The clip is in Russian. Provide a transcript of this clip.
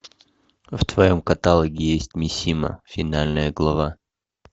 в твоем каталоге есть мисима финальная глава